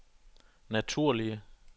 naturlige